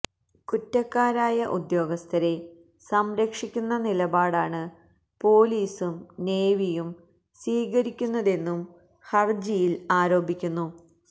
കുറ്റക്കാരായ ഉദദ്യോഗസ്ഥരെ സംരക്ഷിക്കുന്ന നിലപാടാണ് പൊലീസും നേവിയും സ്വീകരിക്കുന്നതെന്നും ഹര്ജിയില് ആരോപിക്കുന്നു